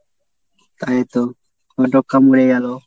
এই তো গেল।